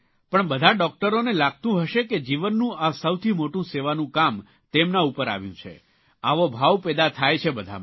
પણ બધા ડૉકટરોને લાગતું હશે કે જીવનનું આ સૌથી મોટું સેવાનું કામ તેમના ઉપર આવ્યું છે આવો ભાવ પેદા થાય છે બધામાં